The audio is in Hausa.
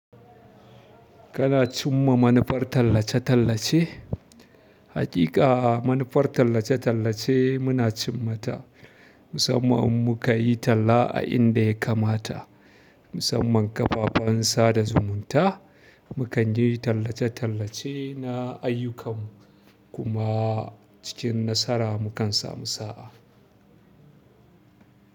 Kana cimma manufar tallace-tallace? Haƙiƙa a manufar tallace-tallace muna cimma ta. Musamman in muka yi talla a inda ya kamata, musamman ƙafafen sada zumunta, mu kan yi tallace-tallace na ayyukan mu kuma cikin nasara mu kan samu sa'a.